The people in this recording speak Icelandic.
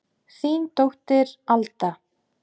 Þín dóttir, Alda.